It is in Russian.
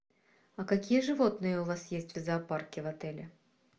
а какие животные у вас есть в зоопарке в отеле